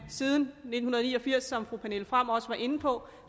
siden nitten ni og firs som fru pernille frahm også var inde på